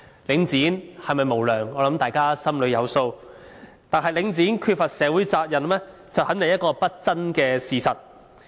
領展是否無良，我想大家心中有數，但領展缺乏社會責任，肯定是一個不爭的事實。